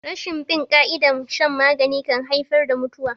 Rashin bin ƙa'idar shan magani kan haifar da mutuwa.